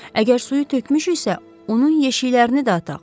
Əgər suyu tökmüşüksə, onun yeşiklərini də ataq.